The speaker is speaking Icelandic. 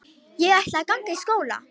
Ég ætla að ganga í skóla.